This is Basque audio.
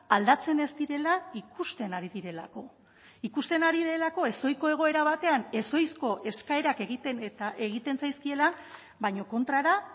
aldatzen ez direla ikusten ari direlako ikusten ari delako ezohiko egoera batean ezohizko eskaerak egiten eta egiten zaizkiela baina kontrara